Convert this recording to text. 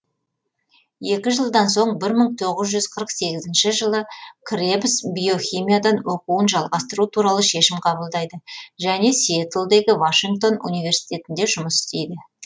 екі жылдан соң бір мың тоғыз жүз қырық сегізінші жылы кребс биохимиядан оқуын жалғастыру туралы шешім қабылдайды және сиэтлдегі вашингтон университетінде жұмыс істейді